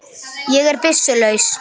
Ég er byssu laus.